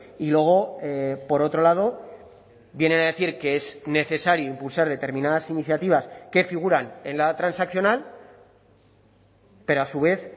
y luego por otro lado viene a decir que es necesario impulsar determinadas iniciativas que figuran en la transaccional pero a su vez